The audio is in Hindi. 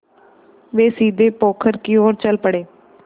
वे सीधे पोखर की ओर चल पड़े